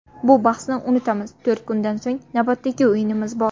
Bu bahsni unutamiz, to‘rt kundan so‘ng navbatdagi o‘yinimiz bor.